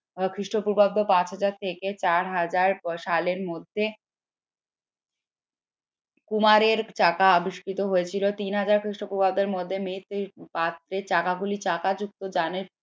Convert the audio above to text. খ্রিস্টপূর্বাব্দ পাঁচ হাজার থেকে চার হাজার সালের মধ্যে কুমারের চাকা আবিষ্কৃত হয়েছিল তিন হাজার খ্রিষ্টপূর্বাব্দের মধ্যে চাকা গুলি চাকাযুক্ত